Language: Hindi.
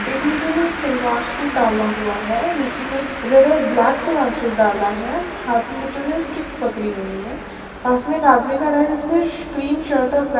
एक लेडी ने सलवार सूट डाला हुआ है दूसरी ने रेड और ब्लेक सलवार सूट डाला है हाथ में बच्चों ने स्टिक्स पकड़ी हुई है पास में एक आदमी खड़ा है जिसने क्रीम सर्ट और ब्लै--